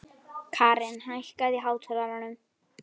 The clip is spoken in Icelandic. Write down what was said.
Karin, hækkaðu í hátalaranum.